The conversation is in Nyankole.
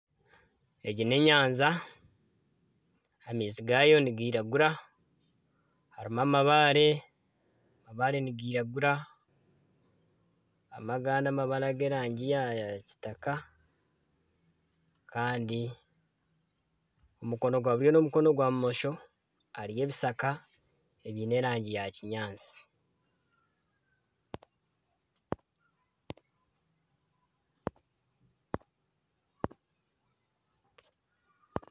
Egi ni enyanja amaizi gayo nigiragura harimu amabaare, amabaare nigiragura harimu agandi amabaare aga erangi ya kitaka kandi omukono gwa buryo na omukono gwa bumosho hariyo ebishaka ebiine erangi ya kinyaantsi.